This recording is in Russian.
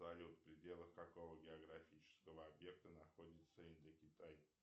салют в пределах какого географического объекта находится индокитай